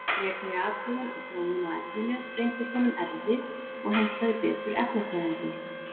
Frekari athugun og þróun á efninu reyndist honum erfið og hentaði betur efnafræðingum.